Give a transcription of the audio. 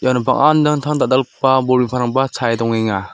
iano bang·a dal·dalgipa bol chae dongenga.